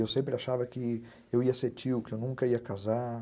Eu sempre achava que eu ia ser tio, que eu nunca ia casar.